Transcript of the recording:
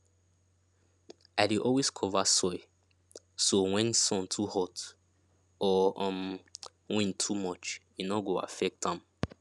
i dey always cover soil so when sun too hot or um wind too much e no go affect am